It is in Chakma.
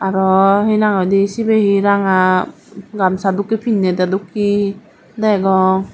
aro hi nang hoidey ranga gamsa dokkey pinnidey dokkey degong.